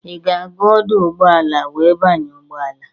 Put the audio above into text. Ị ga-aga ọdụ ụgbọala wee banye ụgbọala?